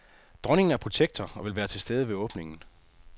Dronningen er protektor og vil være til stede ved åbningen.